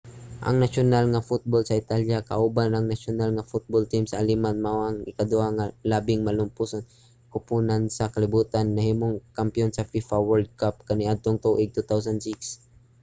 ang nasyonal nga football sa italya kauban ang nasyonal nga football team sa aleman mao ang ikaduha nga labing malampuson nga koponan sa kalibutan ug nahimong mga kampiyon sa fifa world cup kaniadtong tuig 2006